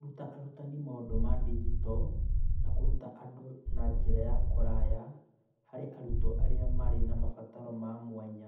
Kũruta arutani maũndũ ma digito na kũruta andũ na njĩra ya kũraya harĩ arutwo arĩa marĩ na mabataro ma mwanya.